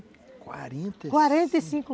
quarenta quarenta e cinco.